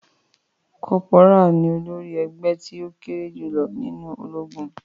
Corporal ní olórí ègbé tí o kéré jùlọ nínú ológun.